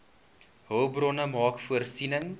hulpbronne maak voorsiening